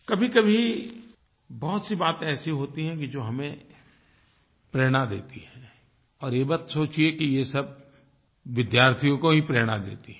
कभीकभी बहुत सी बातें ऐसी होती हैं कि जो हमें प्रेरणा देती हैं और ये मत सोचिए कि ये सब विद्यार्थियों को ही प्रेरणा देती हैं